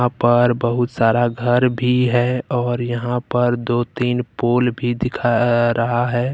यहाँ पर बहुत सारा घर भी है और यहां पर दो तीन पुल भी दिखा र र रहा है।